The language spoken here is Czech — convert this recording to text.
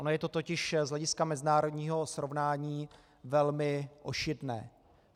Ono je to totiž z hlediska mezinárodního srovnání velmi ošidné.